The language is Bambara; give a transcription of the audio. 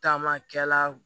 Taamakɛla